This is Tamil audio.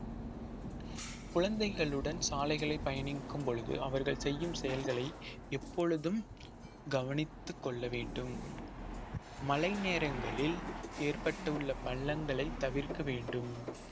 குழந்தைகளுடன் சாலைகளில் பயணிக்கும் பொழுது அவர்கள் செய்யும் செயல்களை எப்பொழுதும் கவனித்துக் கொள்ள வேண்டும் மழை நேரங்களில் ஏற்பட்டுள்ள பள்ளங்களை தவிர்க்க வேண்டும்